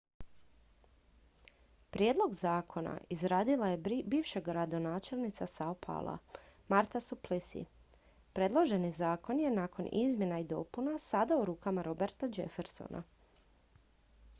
prijedlog zakona izradio je bivša gradonačelnica sao paula marta suplicy predloženi zakon je nakon izmjena i dopuna sada u rukama roberta jeffersona